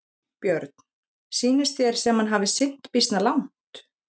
Björn: Sýnist þér sem hann hafi synt býsna langt?